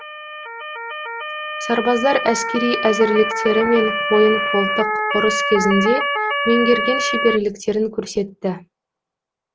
сарбаздар әскери әзірліктері мен қойын қолтық ұрыс кезінде меңгерген шеберліктерін көрсетті